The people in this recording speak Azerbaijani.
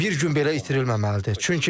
Bir gün belə itirilməməlidir.